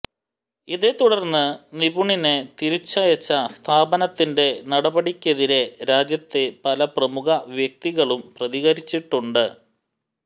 ഇതേ തുടർന്ന് നിപുണിനെ തിരിച്ചയച്ച സ്ഥാപനത്തിന്റെ നടപടിക്കെതിരെ രാജ്യത്തെ പല പ്രമുഖ വ്യക്തികളും പ്രതികരിച്ചിട്ടുണ്ട്